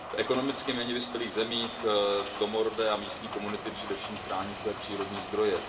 V ekonomicky méně vyspělých zemích domorodé a místní komunity především chrání své přírodní zdroje.